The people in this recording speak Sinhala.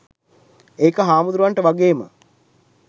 ඒක හාමුදුරුවන්ට වගේම